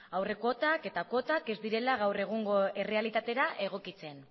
aurre kuotak eta kuotak ez direla gaur egungo errealitatera egokitzen